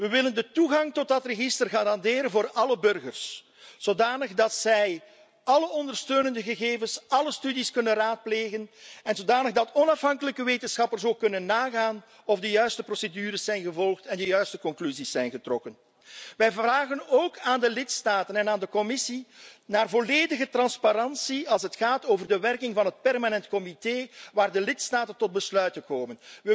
We willen de toegang tot dat register garanderen voor alle burgers, zodanig dat zij alle ondersteunende gegevens, alle studies kunnen raadplegen en zodanig dat onafhankelijke wetenschappers ook kunnen nagaan of de juiste procedures zijn gevolgd en de juiste conclusies zijn getrokken. Wij vragen de lidstaten en de Commissie ook om volledige transparantie als het gaat om de werking van het Permanent Comité waar de lidstaten tot besluiten komen.